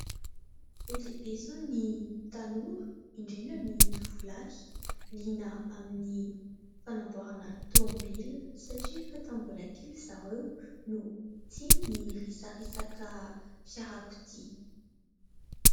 Be dia be izao ny tanora, indrindra ny tovolahy liana amin'ny fanamboarana aotomobilina satria efa tamin'ny mbola kely zareo no tia ny resaresaka fiarakodia.